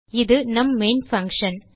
இது நம் main function